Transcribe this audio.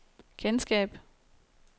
kendskab